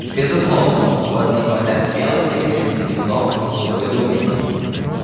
безусловно у вас не хватает смелости произнести в том что вы думаете